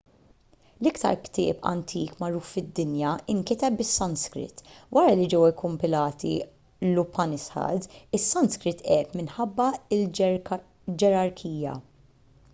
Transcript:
l-iktar ktieb antik magħruf fid-dinja inkiteb bis-sanskrit wara li ġew ikkumpilati l-upanishads is-sanskrit għeb minħabba l-ġerarkija